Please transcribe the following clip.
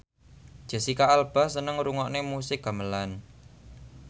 Jesicca Alba seneng ngrungokne musik gamelan